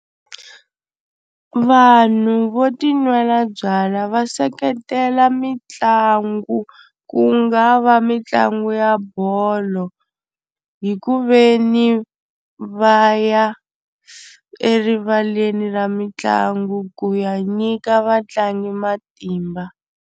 Vanhu vo tinwela byalwa va seketela mitlangu ku nga va mitlangu ya bolo hi ku ve ni va ya erivaleni ra mitlangu ku ya nyika vatlangi matimba.